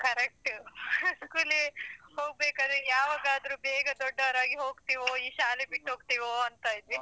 Correct school ಗೆ ಹೋಗ್ಬೇಕಾದ್ರೆ ಯಾವಾಗಾದ್ರು ಬೇಗ ದೊಡ್ಡವರಾಗಿ ಹೋಗ್ತೀವೋ ಈ ಶಾಲೆ ಬಿಟ್ಟೊಗ್ತೀವೋ ಅಂತ ಇದ್ವಿ.